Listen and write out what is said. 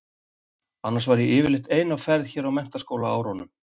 Annars var ég yfirleitt ein á ferð hér á menntaskólaárunum.